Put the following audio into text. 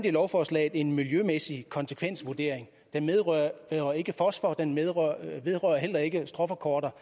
i lovforslaget en miljømæssig konsekvensvurdering og den vedrører ikke fosfor og den vedrører heller ikke stråforkorter